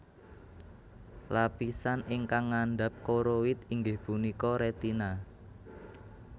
Llapisan ingkang ngandap koroid inggih punika retina